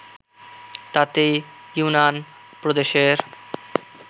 তাতে ইউনান প্রদেশের